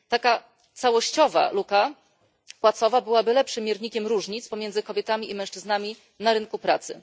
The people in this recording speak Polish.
Taka całościowa luka płacowa byłaby lepszym miernikiem różnic pomiędzy kobietami i mężczyznami na rynku pracy.